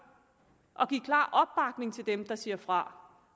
at give klar opbakning til dem der siger fra